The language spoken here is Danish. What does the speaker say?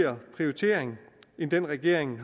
prioritering end den regeringen